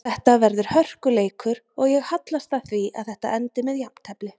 Þetta verður hörkuleikur og ég hallast að því að þetta endi með jafntefli.